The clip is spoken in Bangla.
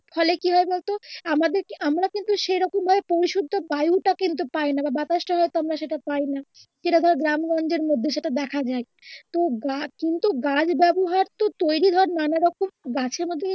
ফলে কি হয় বলতো আমাদেরকে আমরা কিন্তু সেরকম ভাবে পরিশুদ্ধ বায়ুটা কিন্তু পায়নাহ বা বাতাস টা হয়তো আমরা সেটা পাইনা, যেটা ধর গ্রামগঞ্জের মধ্যে সেটা দেখা যায় তো গা কিন্তু গাছ ব্যবহার তো তৈরি হয় নানা রকম গাছের মাধ্যমে